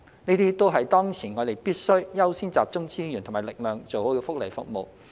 這些都是當前我們必須優先集中資源和力量做好的福利服務。